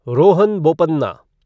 Rohan Bopanna